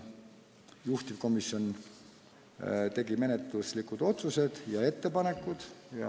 Juhtivkomisjon tegi menetluslikud otsused ja ettepanekud.